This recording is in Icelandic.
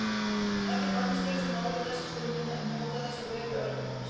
Ekkert annað skiptir máli þessa stundina en njóta þess að vera í örmum hans.